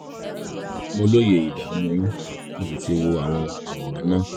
mo lóye ìdààmú yín mo sì ti wo àwọn àwòrán náà